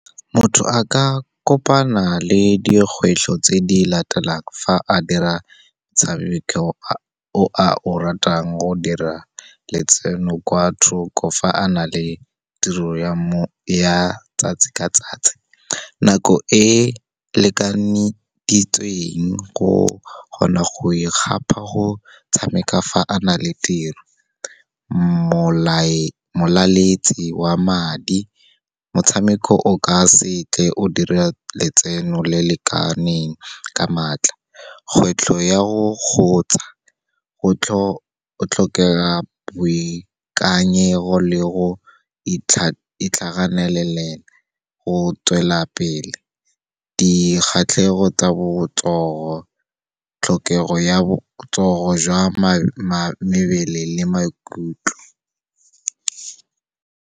Motho a ka kopana le dikgwetlho tse di latelang, fa a dira motshameko o a o ratang go dira letseno kwa thoko fa a na le tiro ya 'tsatsi ka 'tsatsi, nako e lekaneditsweng go kgona go e kgapa go tshameka fa a na le tiro. Molaletsi wa madi. Motshameko o ka se tle o dira letseno le lekaneng ka maatla. Kgwetlho ya go kgotsa, go tlhokega boikanyego le go itlhaganelela go tswelela pele, dikgatlhego tsa botsogo, tlhokego ya botsogo jwa mmele le maikutlo.